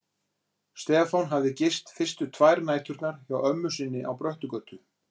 Stefán hafði gist fyrstu tvær næturnar hjá ömmu sinni á Bröttugötu.